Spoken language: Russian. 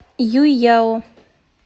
юйяо